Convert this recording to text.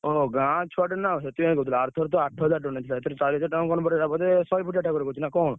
ଓହୋ! ଗାଁ ଛୁଆଟା ନା ସେଥିପାଇଁ କହୁଥିଲି ଆରଥର ତ ଆଠହଜାର ଟଙ୍କା ନେଇଥିଲା ଏଥର ଚାରିହଜାର ଟଙ୍କା କଣ ବଢିଆ ବୋଧେ ଶହେ ଫୁଟିଆ ଠାକୁର କରୁଛି ନା କଣ?